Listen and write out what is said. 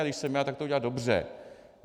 A když jsem já, tak to udělá dobře.